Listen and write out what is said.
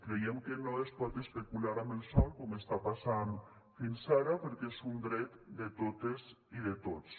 creiem que no es pot especular amb el sòl com està passant fins ara perquè és un dret de totes i de tots